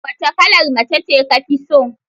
Wace kalar mace ce ka fi so?